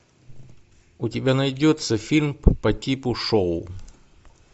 у тебя найдется фильм по типу шоу